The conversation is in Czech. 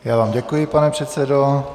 Já vám děkuji, pane předsedo.